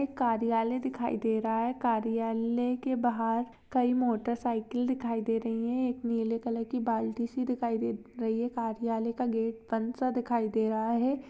एक कार्यालय दिखाई दे रहा हैं कार्यालय के बाहर कई मोटरसाइकिल दिखाई दे रही हैं एक नीले कलर की बाल्टी सी दिखाई दे रही हैं कार्यालय का गेट बंदसा दिखाई दे रहा हैं।